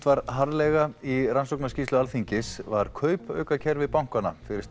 var harðlega í rannsóknarskýrslu Alþingis var kaupaukakerfi bankanna fyrir